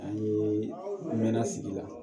A ye n mɛn sigi la